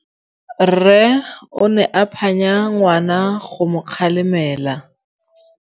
Rre o ne a phanya ngwana go mo galemela.